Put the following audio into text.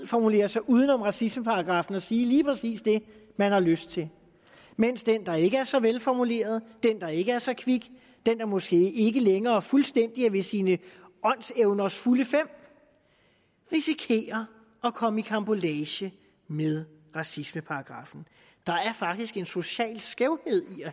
formulere sig uden om racismeparagraffen og sige lige præcis det man har lyst til mens den der ikke er så velformuleret den der ikke er så kvik den der måske ikke længere fuldstændig er ved sine åndsevners fulde fem risikerer at komme i karambolage med racismeparagraffen der er faktisk en social skævhed